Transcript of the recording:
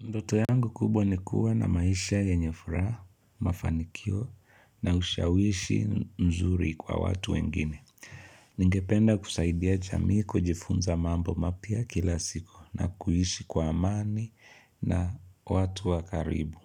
Ndoto yangu kubwa nikuwa na maisha yenyefuraha, mafanikio na ushawishi mzuri kwa watu wengine. Ningependa kusaidia jamii kujifunza mambo mapya kila siku na kuishi kwa amani na watu wakaribu.